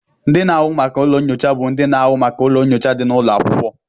Ndị na-ahụ maka ụlọ nyocha bụ ndị na-ahụ maka ụlọ nyocha dị n'ụlọ akwụkwọ